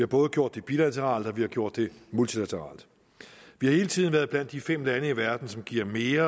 både gjort det bilateralt og vi har gjort det multilateralt vi har hele tiden været blandt de fem lande i verden som giver mere